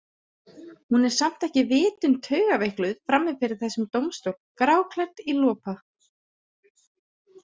Hún er samt ekki vitund taugaveikluð frammi fyrir þessum dómstól, gráklædd í lopa.